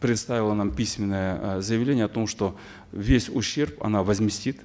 предоставила нам письменное э заявление о том что весь ущерб она возместит